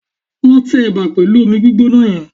Lọ tẹ ẹ̀bà pẹ̀lú omi gbígbóná yẹn